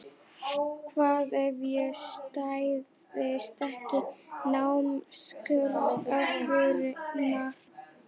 Hvað ef ég stæðist ekki námskröfurnar?